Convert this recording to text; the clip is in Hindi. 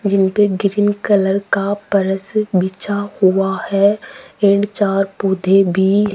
जिन पे ग्रीन कलर का पर्स बिछा हुआ है इन चार पौधे भी --